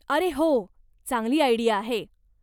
अरे हो, चांगली आयडिया आहे.